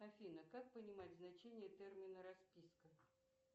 афина как понимать значение термина расписка